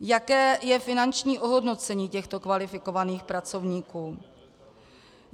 Jaké je finanční ohodnocení těchto kvalifikovaných pracovníků?